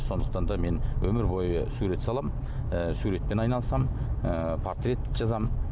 сондықтан да мен өмір бойы сурет саламын ы суретпен айналысамын ыыы портрет жазамын